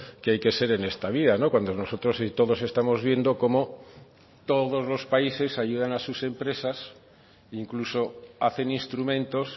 que hay que ser en esta vida cuando nosotros y todos estamos viendo como todos los países ayudan a sus empresas incluso hacen instrumentos